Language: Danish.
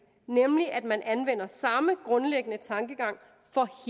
nemlig at man anvender samme grundlæggende tankegang for